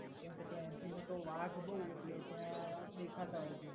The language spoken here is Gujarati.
કેમકે ત્યાં વાઘ બહુ એટલે ત્યાં દેખાતા હોય છે.